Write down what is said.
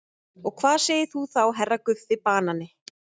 Og hvað segir þú þá HERRA Guffi banani?